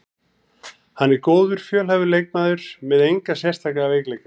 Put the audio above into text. Hann er góður, fjölhæfur leikmaður með enga sérstaka veikleika.